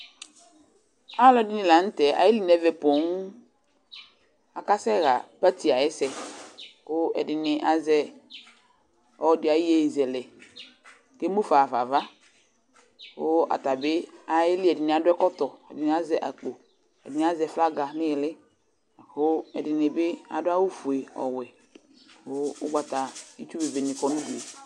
Alʋɛdɩnɩ la n'tɛ ayeli n'ɛmɛ pooo, akasɛɣa party ayɛsɛ kʋ ɛdɩnɩ azɛ ɔlɔdɩ ayʋyeyezɛlɛ k'emʋ fa ɣafa ava, kʋ atabɩ ayeli, , ɛdɩnɩ adʋ ɛkɔtɔ, ɛdɩnɩ azɛ akpo, ɛdɩnɩ azɛ flaga n'iili lakʋ ɛdɩnɩ bɩ adʋ awʋ fue, ɔwɛ kʋ ʋgbata, itsu bebenɩ kɔ nʋ udu yɛ